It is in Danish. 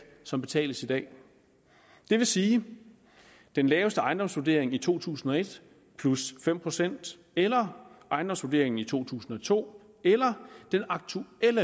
som betales i dag det vil sige den laveste ejendomsvurdering i to tusind og et plus fem procent eller ejendomsvurderingen i to tusind og to eller den aktuelle